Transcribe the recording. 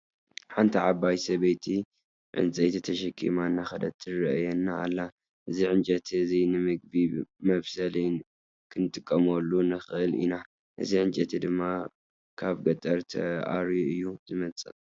ሓንቲ ዓባይ ሰበይቲ ዕንፀይቲ ተሸኪማ እነዳከደት ትረአየና ኣላ። እዚ ዕንጨይቲ እዚ ንምግቢ መብሰሊ ክንጥቀመሉ ንክእል ኢና። እዚ ዕንጨይቲ ድማ ካብ ገጠር ተኣርዩ እዩ ዝመፅእ።